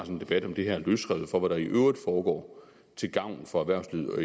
en debat om det her løsrevet fra hvad der i øvrigt foregår til gavn for erhvervslivet og